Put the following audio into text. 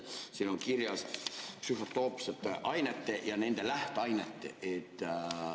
Siin on kirjas psühhotroopsed ained ja nende lähteained.